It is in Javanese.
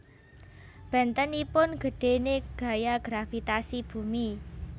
Bentenipun gedhene gaya gravitasi bumi